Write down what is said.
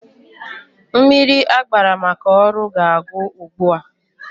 Mmiri agbara maka ọrụ ga-agwụ ugbua.